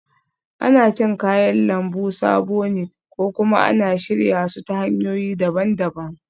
Ana cin kayan lambu sabo ne ko kuma ana shirya su ta hanyoyi daban-daban